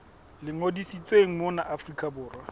le ngodisitsweng mona afrika borwa